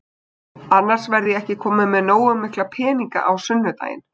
Annars verð ég ekki kominn með nógu mikla peninga á sunnudaginn.